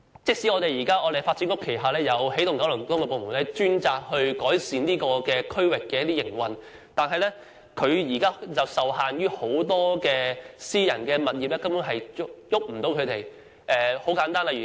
即使發展局轄下有起動九龍東辦事處專責改善該區的營運，但受限於很多私人物業，根本無法改變。